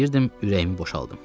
İstəyirdim ürəyimi boşaldım.